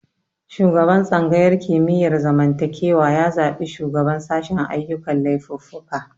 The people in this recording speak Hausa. Shugaban tsangayar mikiyar zamantakewa ya zabi shugaban sashen ayyukan laifuffuka